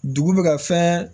Dugu bɛ ka fɛn